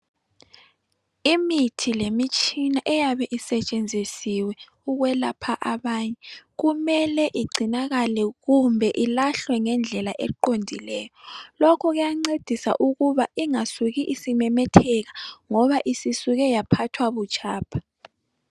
Imithi lemitshina eyabe isetshenzisiwe ukwelapha abanye. Kumele igcinakale kumbe ilahlwe ngendlela eqondileyo. Lokho kuyancedisa ukuba ingasuki isimemetheka ngoba isisuke yaphathwa butshapha.